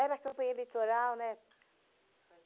Era a campanha eleitoral, né?